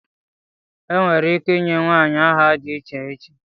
Enwere ike ịnye nwanyị aha dị iche iche